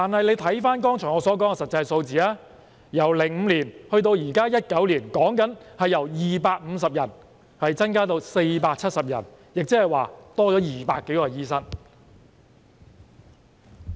可是，翻看我剛才提到的實際數字，由2005年至2019年，其實只是由250人增加至470人，共增加了200多名醫生。